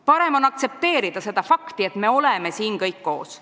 Parem on aktsepteerida seda fakti, et me oleme siin kõik koos.